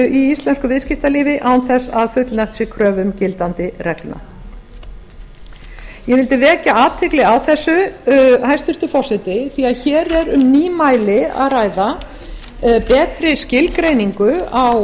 íslensku viðskiptalífi án þess að fullnægt sé kröfum gildandi reglna ég vildi vekja athygli á þessu hæstvirtur forseti því að hér er um nýmæli að ræða betri skilgreiningu á